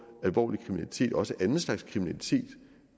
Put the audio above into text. alvorlig kriminalitet og også anden slags kriminalitet